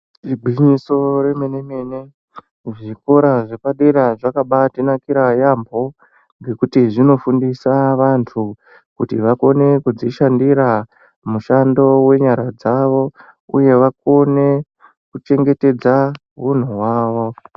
Igwinyiso remene-mene ,kuzvikora zvepadera zvakabaatinakira yambo, ngekuti zvinofundisa vantu kuti vakone kudzishandira, mushando wenyara dzavo ,uye vakone kuchengetedza hunhu hwavo.